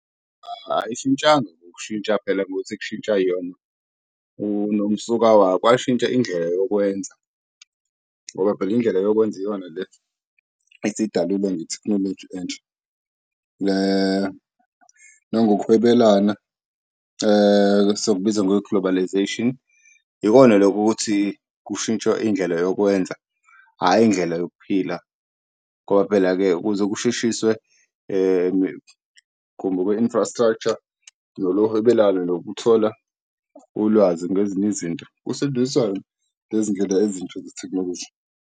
Ayishintshanga ukushintsha phela ukuthi kushintsha yona unomsuka wayo. Kwashintsha indlela yokwenza ngoba phela indlela yokwenza iyona le esidalelwe ngethekhinoloji entsha. Le nangoku hwebelana siyokubiza nge-Globalisation ikona loku ukuthi kushintshwe indlela yokwenza hhayi indlela yokuphila ngoba phela-ke ukuze kusheshiswe ku-infrastructure lolo hwebelano nokuthola ulwazi ngezinye izinto ngezindlela ezintsha zethekhinoloji.